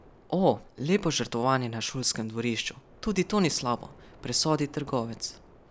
O, lepo žrtvovanje na šolskem dvorišču, tudi to ni slabo, presodi trgovec.